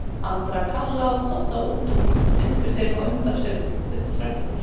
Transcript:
Andra, Kalla og Dodda út úr og hrindir þeim á undan sér upp tröppurnar.